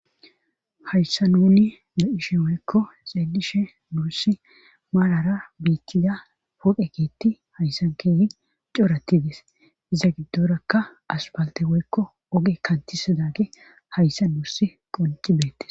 hayssa nuni de7ishe woykko xeelishe nursi malara biithtida poqekeetti hayssan keehi coratides iza giddorakka asbalte woykko oge kantisa daage hayssa nuussi qoncibeettes